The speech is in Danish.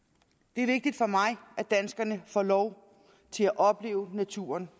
det er vigtigt for mig at danskerne får lov til at opleve naturen